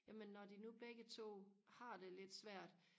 jamen når de nu begge to har det lidt svært